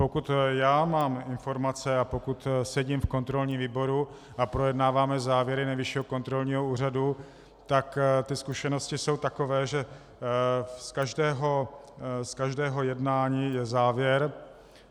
Pokud já mám informace a pokud sedím v kontrolním výboru a projednáváme závěry Nejvyššího kontrolního úřadu, tak ty zkušenosti jsou takové, že z každého jednání je závěr.